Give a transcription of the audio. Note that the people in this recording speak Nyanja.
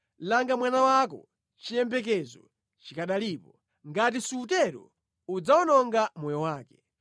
Langa mwana wako, chiyembekezo chikanalipo; ngati sutero udzawononga moyo wake.